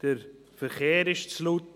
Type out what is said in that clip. «Der Verkehr ist zu laut.